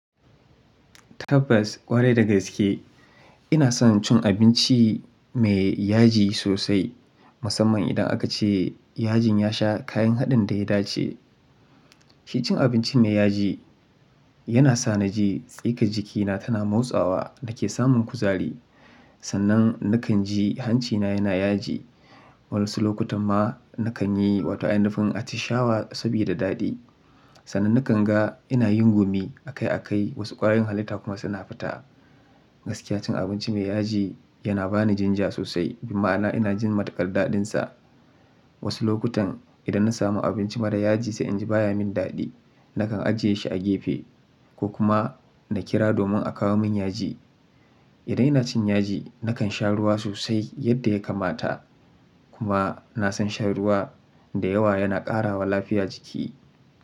Tabbas ƙwarai da gaske ina son cin abinci mai yaji sosai, musamman idan aka ce yajin ya sha kayan haɗin da ya dace. Shi cin abinci mai yaji yana sa na ji tsikan jikina tana motsawa da ke samun kuzari. Sannan na kan ji hancina yana yaji. Wayansu lokutan ma na kan yi, wato ainifin atishawa sabida daɗi. Sannan na kan ga ina yin gumi a kai a kai, wasu ƙwayoyin halitta kuma suna fita. Gaskiya cin abinci mai yaji yana ba ni jinja sosai, bi ma'ana ina jin matukar daɗinsa. Wasu lokutan idan na samu abinci mara yaji sai in ji baya min daɗi. Na kan ajiye shi a gefe ko kuma na kira domin a kawo min yaji. Idan ina cin yaji, na kan sha ruwa sosai yadda ya kamata. Kuma na san shan ruwa da yawa yana ƙarawa lafiya jiki.